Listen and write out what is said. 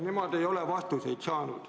Nemad ei ole vastuseid saanud.